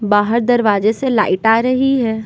बाहर दरवाजे से लाइट आ रही है।